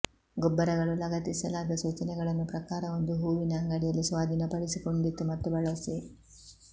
ಗೊಬ್ಬರಗಳು ಲಗತ್ತಿಸಲಾದ ಸೂಚನೆಗಳನ್ನು ಪ್ರಕಾರ ಒಂದು ಹೂವಿನ ಅಂಗಡಿಯಲ್ಲಿ ಸ್ವಾಧೀನಪಡಿಸಿಕೊಂಡಿತು ಮತ್ತು ಬಳಸಿ